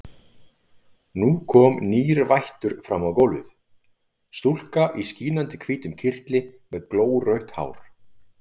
Nú kom nýr vættur fram á gólfið, stúlka í skínandi hvítum kyrtli með glórautt hár.